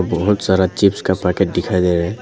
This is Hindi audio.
बहुत सारा चिप्स का पैकेट दिखाई दे रहा है।